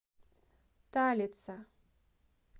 талица